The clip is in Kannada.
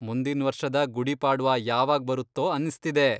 ಮುಂದಿನ್ವರ್ಷದ ಗುಡಿ ಪಾಡ್ವಾ ಯಾವಾಗ್ ಬರುತ್ತೋ ಅನ್ಸ್ತಿದೆ.